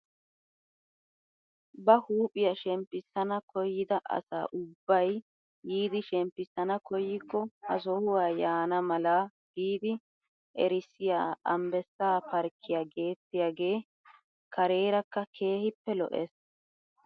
Ba huuphphiyaa shemppisana koyida asa ubbay yiidi shemppisana koyikko ha sohuwaa yaana mala giidi erissiyaa ambbessaa parkkiyaa gettiyaagee karerakka keehippe lo"ees!